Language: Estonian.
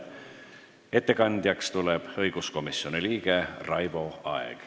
Ettekandjaks tuleb õiguskomisjoni liige Raivo Aeg.